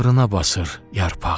Bağrına basır yarpağı.